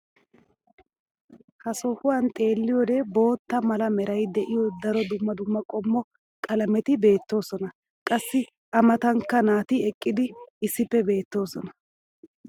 ha sohuwan xeelliyoode bootta mala meray de'iyo daro dumma dumma qommo qalametti beetoosona. qassi a matankka nati eqqidi issippe beetoosona.